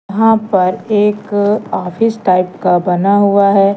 यहां पर एक ऑफिस टाइप का बना हुआ है।